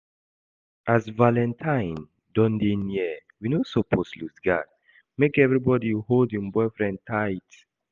As valentine don dey near we no suppose lose guard, make everybody hold im boyfriend tight